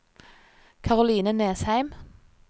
Karoline Nesheim